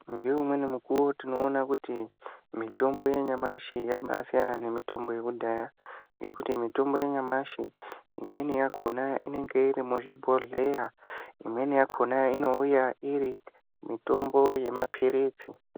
Ngeumweni mukuwo tinoona kuti mitombo yanyamashi yabasiyana nemitombo yekudhaya ngekuti mitombo yanyamashi imweni yakhona inenge iri muzvibhodhleya. Imweni yakhona inouya iri mitombo yemaphiritsi.